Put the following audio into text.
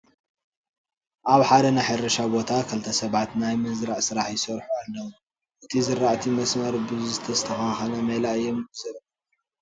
ኣብ ሓደ ናይ ሕርሻ ቦታ ክልተ ሰባት ናይ ምዝራእ ስራሕ ይሰርሑ ኣለዉ፡፡ እዚ ዝራእቲ መስመር ብዝተኸተለ ሜላ እዮም ይዘርእዎ ዘለዉ፡፡